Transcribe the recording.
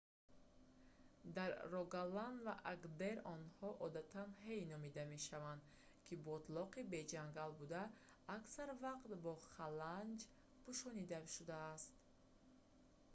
дар рогаланд ва агдер онҳо одатан «ҳэй» номида мешаванд ки ботлоқи беҷангал буда аксар вақт бо халанҷ пӯшонида шудааст